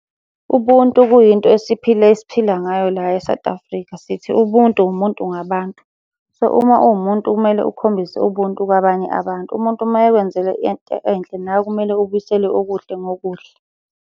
Ubuntu kuyinto esiphila esiphila ngayo la e-South Africa, sithi ubuntu umuntu ngabantu. So, uma uwumuntu kumele ukhombise ubuntu kwabanye abantu, umuntu uma ekwenzeke into enhle nawe kumele ubuyisele okuhle ngokuhle.